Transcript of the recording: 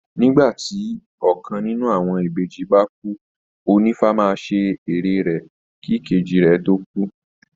Nígbà tí ọkàn nínú àwọn ìbejì bá kú, ònífá máa ṣe ère rẹ̀ kí ìkejì rẹ̀ tó kú